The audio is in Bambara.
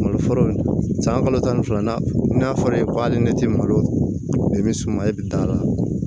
Malo foro san kalo tan ni fila n'a fɔra e ɲɛ tɛ malo i bɛ suma e bɛ taa